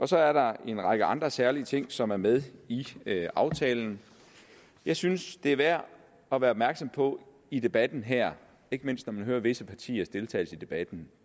så er der en række andre særlige ting som er med i aftalen jeg synes det er værd at være opmærksom på i debatten her ikke mindst når man hører visse partiers deltagelse i debatten